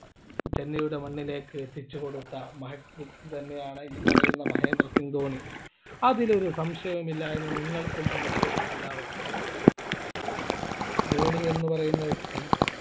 ചെന്നൈയുടെ മണ്ണിലേക്ക് എത്തിച്ചു കൊടുത്ത മഹത് വ്യക്തി തന്നെയാണ് ഈ പറയുന്ന മഹേന്ദ്ര സിംഗ് ധോണി അതിൽ ഒരു സംശയം ഇല്ലാ എന്ന് നിങ്ങൾക്കും എനിക്കും എല്ലാവര്ക്കും അറിയാം ധോണി എന്ന് പറയുന്ന വ്യക്തി